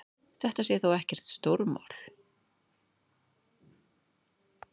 Þetta sé þó ekkert stórmál.